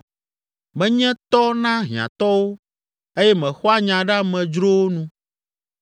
Menye tɔ na hiãtɔwo eye mexɔa nya ɖe amedzrowo nu.